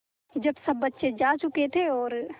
जब सब बच्चे जा चुके थे और